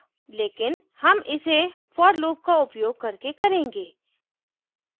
लेकिन हम इसे for loop का उपयोग करके करेंगे